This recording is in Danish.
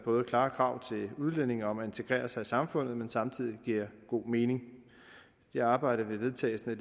klare krav til udlændinge om at integrere sig i samfundet men samtidig giver god mening det arbejde vil vedtagelsen af